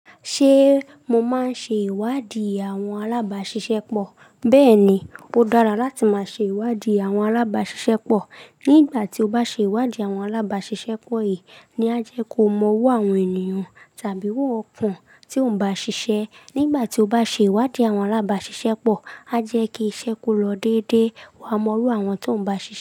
Ṣé mo máa ń ṣe ìwádìí àwọn alábáṣiṣẹ́ pọ̀? Bẹ́ẹ̀ni, ó dára láti máa ṣe ìwádìí àwọn alábáṣiṣẹ́ pọ̀. Nígbà tí o bá ṣe ìwádìí àwọn alábáṣiṣẹ́ pọ̀ yìí ni á jẹ́ kó mọ owó àwọn ènìyàn tàbí owó ọkan tí ò ń bá ṣiṣẹ́. Nígbà tí o bá ṣe ìwádìí àwọn alábáṣiṣẹ́ pọ̀, a jẹ́ kí iṣẹ́ kó lọ dédé wá mọ iru àwọn tó ń bá ṣiṣẹ́.